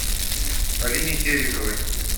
алине тереховой